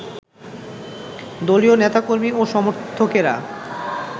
দলীয় নেতাকর্মী ও সমর্থকেরা